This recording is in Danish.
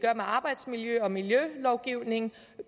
arbejsmiljø og miljølovgivning